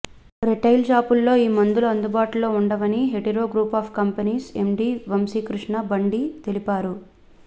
retail షాపుల్లో ఈ మందులు అందుబాటులో ఉండవని Hetero group of companies MD Vamsikrishna Bandi తెలిపారు